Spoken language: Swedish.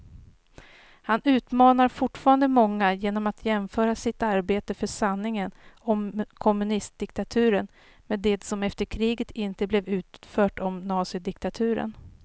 Han utmanar fortfarande många genom att jämföra sitt arbete för sanningen om kommunistdiktaturen med det som efter kriget inte blev utfört om nazidiktaturen.